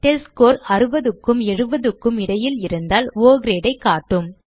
test score 60க்கும் 70 க்கும் இடையில் இருந்தால் ஒ Grade ஐ காட்டும்